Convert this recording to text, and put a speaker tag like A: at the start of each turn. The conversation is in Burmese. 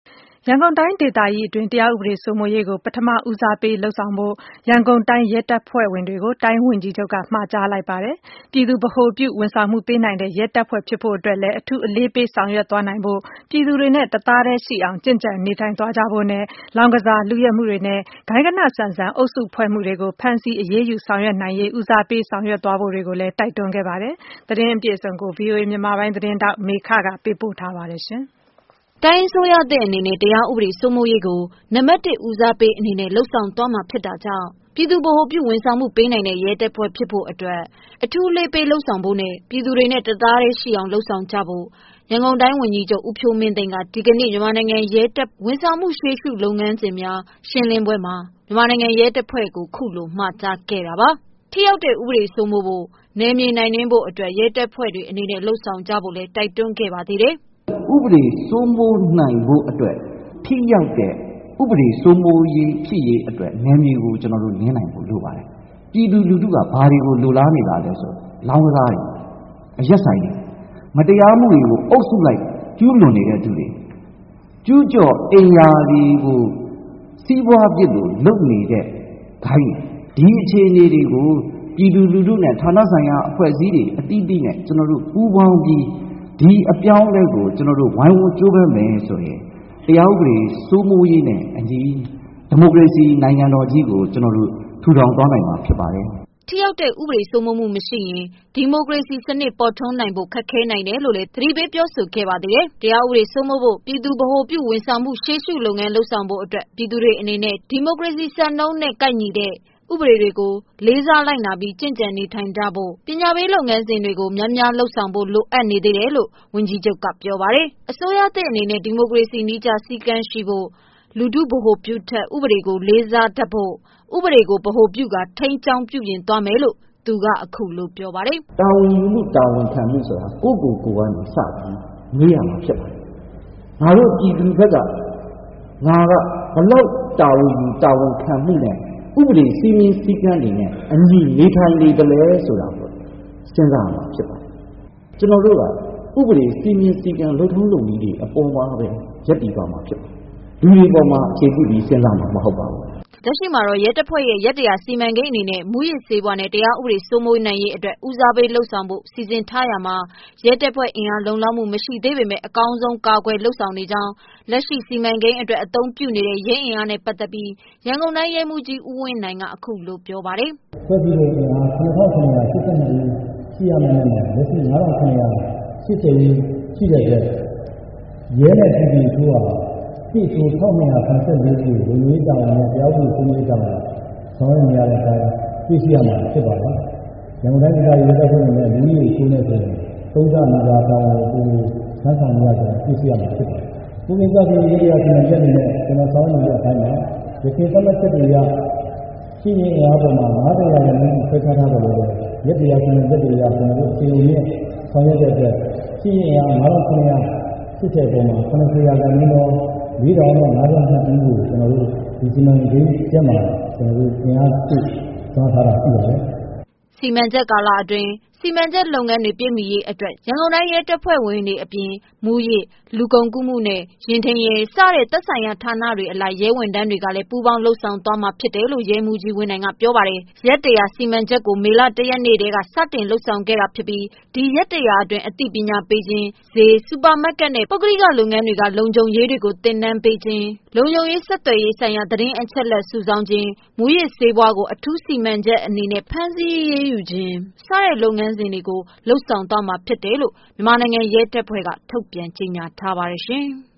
A: ရန်ကုန်တိုင်းဒေသကြီးအတွင်း တရားဥပဒေစိုးမိုးရေးကို ပထမဦးစားပေး လုပ်ဆောင်ဖို့ ရန်ကုန်တိုင်း ရဲတပ်ဖွဲ့ဝင်တွေကို တိုင်းဝန်ကြီးချုပ်က မှာကြားလိုက်ပါတယ်။ ပြည်သူ ဗဟိုပြု ဝန်ဆောင်မှု ပေးနိုင်တဲ့ရဲတပ်ဖွဲ့ဖြစ်ဖို့ အတွက်လည်း အထူးအလေးပေး လုပ်ဆောင်နိုင်ဖို့ ပြည်သူတွေနဲ့ တသားထဲရှိအောင် လုပ်ဆောင်ကြဖို့လည်း တိုက်တွန်းခဲ့ပါတယ်။ လောင်းကစား၊ လုယက်မှုတွေနဲ့ ဂိုဏ်းဂဏဆန်ဆန်အုပ်စုဖွဲ့ မှုတွေကို ဖမ်းဆီး အရေးယူ ဆောင်ရွက်နိုင်ရေးကို ဦးစားပေးလုပ်ဆောင် သွားဖို့ကို တိုက်တွန်းလိုက်ပါတယ်။ ဒီသတင်း အပြည့်အစုံကို ဗွီအိုအေ မြန်မာပိုင်းက မေခက ပေးပို့ထားပါတယ်။ တိုင်းအစိုးရသစ်အနေနဲ့ တရားဥပဒေစိုးမိုးရေးကို နံပါတ် ၁ဦးစားပေးအနေနဲ့ လုပ်ဆောင်သွားမှာ ဖြစ်တာကြောင့် ပြည်သူ ဗဟိုပြု ဝန်ဆောင်မှုပေးနိုင်တဲ့ ရဲတပ်ဖွဲ့ဖြစ်ဖို့ အတွက်လည်း အထူးအလေးပေး လုပ်ဆောင်နိုင် ဖို့ ပြည်သူတွေနဲ့တသားထဲရှိအောင် လုပ်ဆောင်ကြဖို့ ရန်ကုန်တိုင်းဝန်ကြီးချုပ် ဦးဖြိုးမင်းသိန်းက ဒီကနေ့ မြန်မာနိုင်ငံရဲ တပ်ဖွဲ့ ရဲ့ ဝန်ဆောင်မှုရှေးရှုလုပ်ဆောင်မယ့် လုပ်ငန်းစဉ် ရှင်းလင်းပွဲမှာ ခုလိုမှာကြားခဲ့တာပါ။ ထိရောက်တဲ့ ဥပဒေစိုးမိုးဖို့ နယ်မြေနင်းနိုင်ဖို့ ရဲတပ်ဖွဲ့တွေနဲ့ လုပ်ဆောင်ကြဖို့ လည်း တိုက်တွန်းခဲ့ပါသေးတယ်
B: ။ “ ဥပဒေ စိုးမိုးနိုင်ဖို့အတွက် ထိရောက်တဲ့ ဥပဒေစိုးမိုးရေးဖြစ်ရေးအတွက် နယ်မြေကို နင်းနိုင်ဖို့ လိုပါတယ်။ ပြည်သူလူထုက ဘာတွေကို လိုလားနေတာလဲ ဆိုတော့ လောင်းကစားတွေ၊ အရက်ဆိုင်တွေ၊ မတရားမှုတွေကို အုပ်စုလိုက် ကျူးလွန်နေတဲ့ သူတွေ၊ ကျူးကျော် အိမ်ယာတွေကို စီးပွားဖြစ်လို လုပ်နေတဲ့ ဂိုဏ်းတွေ တွေ၊ ဒီအခြေအနေတွေကို ပြည်သူလူထုနဲ့ ဌာနဆိုင်ရာ အဖွဲ့အစည်းတွေ အသီးသီးနဲ့ ပူးပေါင်းပြီး၊ ဒီအပြောင်းအလဲကို ဝိုင်းဝန်းပြီးတော့ ကြိုးပမ်းမယ်ဆိုရင် တရားဥပဒေ စိုးမိုးရေးနဲ့ အညီ ဒီမိုကရေစီ နိုင်ငံတော်ကြီးကို ကျွန်တာ်တို့ ထူထောင်သွားနိုင်မှာ ဖြစ်ပါတယ်။
A: ” ထိရောက်တဲ့ ဥပဒေ စိုးမှု မရှိရင် ဒီမိုကရေစီစနစ်ပေါ်ထွန်းနိုင်ဖို့ ခက်ခဲနိုင်တယ်လို့လည်း သတိပေးပြောဆို ခဲ့ပါသေးတယ်။ တရားဥပဒေစိုးမိုးဖို့ပြည်သူဗဟိုပြု ဝန်ဆောင်မှု ရှေးရှုလုပ်ငန်းလုပ် ဆောင်ဖို့ အတွက် ပြည်သူတွေ အနေနဲ့ ဒီမိုကရေစီစံနှုန်းနဲ့ကိုက်တဲ့ ဥပဒေတွေကို လေးစားလိုက်နာပြီး ကျင့်ကြံ့နေထိုင်နိုင်ဖို့ ပညာပေးလုပ်ငန်းစဉ်တွေ ကိုများများ လုပ်ဆောင်ဖို့ လိုတယ်လို့လည်း ဝန်ကြီးချုပ်ကပြောပါတယ်။ အစိုးရသစ် အနေနဲ့ ဒီမိုကရေစီနည်းကျစည်းကမ်းရှိဖို့ လူထုဗဟိုပြုထက် ဥပဒေကို လေးစားလိုက်နာ တတ်ဖို့ ဥပဒေကိုဗဟိုပြုကာ ထိန်းကျောင်းသွားမယ်လို့ အခုလိုပြောပါတယ်
B: ။ “တာဝန်ယူမှု တာဝန်ခံမှု ဆိုတာ ကိုယ့်ကိုယ်ကိုကနေ စပြီး မွေးရမှာ ဖြစ်ပါတယ်။ ငါတို့ ပြည်သူဘက်က၊ ငါက ဘယ်လောက် တာဝန်ယူတာဝန်ခံမှု နဲ့ ဥပဒေ စည်းမျဉ်း စည်းကမ်းတွေနဲ့အညီ နေထိုင်နေသလဲ ဆိုတာကိုပဲ စဉ်းစားရမှာ ဖြစ်ပါတယ်။ ကျွန်တော်တို့က ဥပဒေ စည်းမျဉ်း စည်းကမ်း လုပ်ထုံး လုပ်နည်းတွေအပေါ်မှာပဲ ရပ်တည်သွားမှာ ဖြစ်ပါတယ်။ လူတွေအပေါ် အခြေပြုပြီး စဉ်းစားမှာ မဟုတ်ပါဘူး။
A: ” လက်ရှိမှာ ရဲတပ်ဖွဲ့ ရက်တရာစီမံကိန်းအနေနဲ့ မူးယစ်ဆေးဝါးနဲ့ တရားဥပဒေ စိုးမိုးရေးအတွက် ဦးစားပေး လုပ်ဆောင်ဖို့ စီစဉ်ထားရာမှာ ရဲတပ်ဖွဲ့အင်အား လုံလောက်မှုမရှိ ပေမယ့် အကောင်းဆုံးကာကွယ်လုပ်ဆောင်နေကြောင်း၊ လက်ရှိ စီမံကိန်းအတွက် အသုံးပြုနေတဲ့ ရဲအင်အားနဲ့ပတ်သတ်ပြီး ရန်ကုန်တိုင်း ရဲမှုးကြီး ဦးဝင်းနိုင်က အခုလို ပြောပါတယ်
C: ။ ”ဖွဲ့စည်းပုံ အင်အား ၇၇၈၂ဦး ရှိရမယ့် နေရာမှာ လက်ရှိ အင်အား ၅၇၈၀ ဦး ရှိတဲ့အတွက် ရဲနဲ့ ပြည်သူအချိုးဟာ ၁ အချိုး ၁၂၇၄ ဦးကို လုံခြုံရေး တာဝန်နဲ့ တရားဥပဒေ စိုးမိုးရေး တာဝန် ထမ်းဆောင်နေတာ တွေ့ ရပါမယ်။ ရန်ကုန်တိုင်း ဒေသကြီး ရဲတပ်ဖွဲ့ အနေနဲ့ လူဦးရေ အချိုးနဲ့ ဆိုရင် သုံးဆနီးပါး တာဝန်ထမ်းဆောင်နေရတာ ဖြစ်ပါတယ်။ မှုခင်းကျဆင်းရေး ရက်၁၀၀ စီမံချက်အနေနဲ့ကျွန်တော် ဆောင်ရွက်နေတဲ့ အပိုင်းမှာ ယခင် သတ်မှတ်ချက်တွေ အရ ရှိရင်း အင်အားတွေမှာ ၅၀ ရာခိုင်နှုန်း အထိ ခွဲခြားထားပြီး၊ ရက် ၁၀၀ စီမံချက်မှာ အချိန်နဲ့ ဆောင်ရွက်တဲ့အတွက် ရှိရင်း အင်အား ၅၇၈၀မှာ ၇၀ ရာခိုင်နှုန်းသော ၄၀၅၂ဦးကို ဒီစီမံချက်မှာ အင်အားဖြည့် ဆောင်ရွက်ထားတ
A: ာ ရှိပါတယ်။” စီမံချက် ကာလအတွင်း စီမံချက်လုပ်ငန်းတွေ ပြည့်မှီရေးအတွက် ရန်ကုန်တိုင်း ရဲတပ်ဖွဲ့အပြင် မူးယစ်၊ လူကုန်ကူး၊နဲ့ ယာဉ်ထိန်းရဲ၊ စတဲ့ သက်ဆိုင်ရာဌာနအလိုက် ရဲဝန်ထမ်း တွေကလည်း ပူးပေါင်း လုပ်ဆောင်သွားမယ်လို့ ရဲမှုးကြီးဝင်းနိုင်က ပြောပါတယ်။ ရက် ၁၀၀ စီမံချက်ကို မေ လ ၁ရက်နေ့ ထဲက စတင်လုပ်ဆောင်ခဲ့တာဖြစ်ပြီး ဒီရက်တရာ အတွင်း အသိပညာပေးခြင်း၊ ဈေး၊ စူပါမတ်ကတ်နဲ့ ပုဂ္ဂလိက လုပ်ငန်းတွေက လုံခြုံရေးတွေကို သင်တန်းပေးခြင်း၊ လုံခြုံရေး ဆက်သွယ်ရေးဆိုင်ရာ သတင်းအချက်အလက် စုဆောင်းခြင်း၊ မူးယစ်ဆေးဝါးကို အထူးစီမံချက်အနေနဲ့ ဖမ်းဆီးအရေးယူခြင်း တို့ကို လုပ်ဆောင် သွားမှာဖြစ်တယ်လို့ ရဲတပ်ဖွဲ့က ထုတ်ပြန်ထားပါတယ်ရှင်။